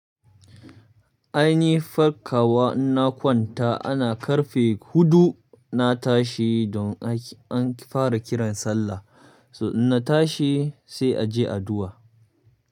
Ainihi farka wa in na kwanta ana karfe hudu, na tashi don an fara kiran sallah. So in na tashi sai a je addu'a.